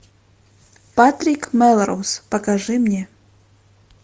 патрик мелроуз покажи мне